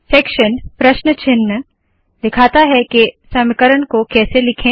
section प्रश्न चिन्ह दिखाता है के समीकरण को कैसे लिखे